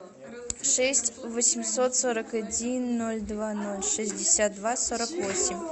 шесть восемьсот сорок один ноль два ноль шестьдесят два сорок восемь